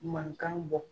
Mankan bɔ